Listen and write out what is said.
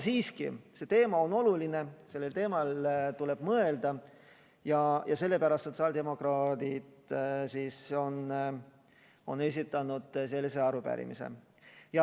Siiski, see teema on oluline, sellel teemal tuleb mõelda ja sellepärast sotsiaaldemokraadid on esitanud sellise arupärimise.